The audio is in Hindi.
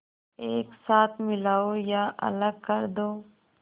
एक साथ मिलाओ या अलग कर दो